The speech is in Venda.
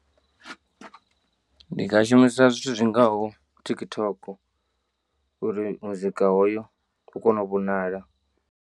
Ndi nga shumisa zwithu zwi ngaho TikTok uri muzika hoyo u kone u vhonala.